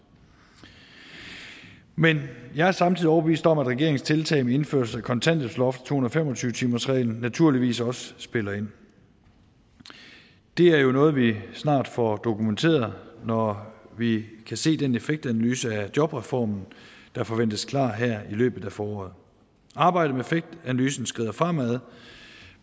men jeg er samtidig overbevist om at regeringens tiltag med indførelse af kontanthjælpsloft og to hundrede og fem og tyve timersreglen naturligvis også spiller ind det er jo noget vi snart får dokumenteret når vi kan se den effektanalyse af jobreformen der forventes klar her i løbet af foråret arbejdet med effektanalysen skrider fremad